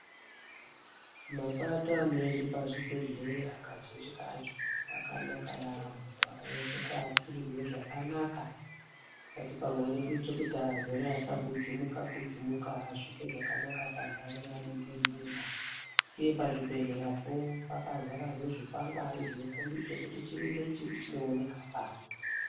Mapato anoende pazvibhedhleya kazhinji kacho akanaka yambo akanyatsokiakirirwa zvakanaka tikati pamweni kuitira kuti arwere asagujumuka gujumuka asvike zvakanaka pandau yaanenge eienda uye pazvibhedhleya po pakadzarezve zvikwangwari zvinokombidze kuti chiri nechiri chinooneka pari.